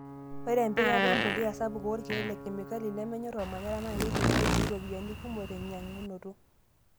Ore empikata empuliya saapuk oorkiek le kemikali nemenyor ormanyara naa keitumiaya sii iropiyiani kumok tenkinyiang'unoto.